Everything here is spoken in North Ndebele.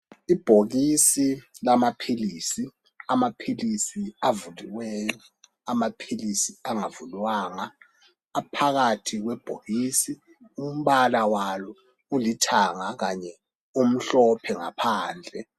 Ibhokisi lamaphilisi, amaphilisi avuliweyo, amaphilisi angavulwanga aphakathi kwebhokisi umbala walo ulithanga kanye umhlophe ngaphadle.